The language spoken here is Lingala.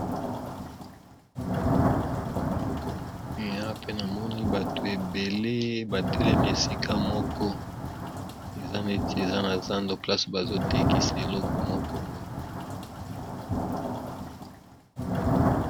Mais Awa pe na moni bato ebele batelemi esika moko eza neti eza na zando place bazotekisa eloko moko boye